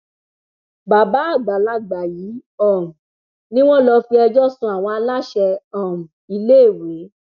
bàbá àgbàlagbà yìí um ni wọn lọ fi ẹjọ sun àwọn aláṣẹ um iléèwé